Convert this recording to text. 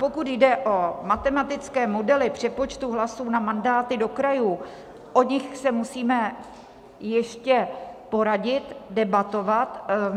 Pokud jde o matematické modely přepočtu hlasů na mandáty do krajů, o nich se musíme ještě poradit, debatovat.